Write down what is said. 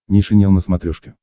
нейшенел на смотрешке